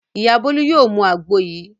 Ìyá Bólú yóò mu àgbo yìí.